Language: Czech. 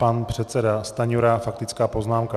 Pan předseda Stanjura, faktická poznámka.